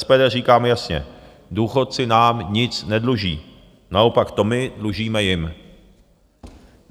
SPD říká jasně, důchodci nám nic nedluží, naopak to my dlužíme jim.